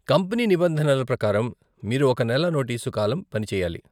Company నిబంధనల ప్రకారం, మీరు ఒక నెల నోటీసు కాలం పని చెయ్యాలి.